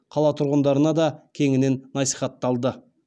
қала тұрғындарына да кеңінен насихатталды